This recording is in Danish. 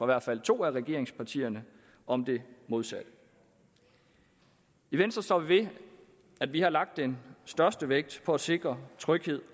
hvert fald to af regeringspartierne om det modsatte i venstre står vi ved at vi har lagt den største vægt på at sikre tryghed